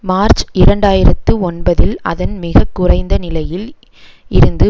March இரண்டாயிரத்து ஒன்பதில் அதன் மிக குறைந்த நிலையில் இருந்து